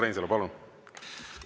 Urmas Reinsalu, palun!